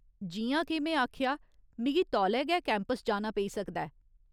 जि'यां के में आखेआ, मिगी तौले गै कैंपस जाना पेई सकदा ऐ।